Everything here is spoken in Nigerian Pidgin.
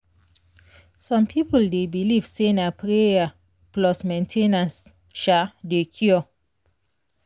some people dey believe say na prayer plus medicine dey cure.